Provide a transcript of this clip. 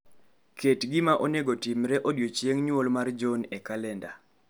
Ket gima onego otimre mar odiechieng' mar nyuol mar Johnonwre e kalenda